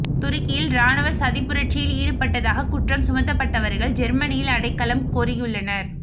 துருக்கியில் இராணுவ சதிப்புரட்சியில் ஈடுபட்டதாக குற்றம் சுமத்தப்பட்டவர்கள் ஜெர்மனியில் அடைக்கலம் கோரியுள்ளனர்